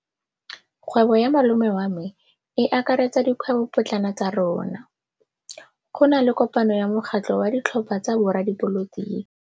Kgwêbô ya malome wa me e akaretsa dikgwêbôpotlana tsa rona. Go na le kopanô ya mokgatlhô wa ditlhopha tsa boradipolotiki.